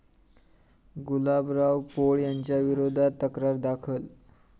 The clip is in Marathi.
गुलाबराव पोळ यांच्याविरोधात तक्रार दाखल